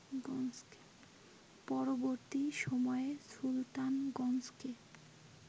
পরবর্তী সময়ে সুলতানগঞ্জকে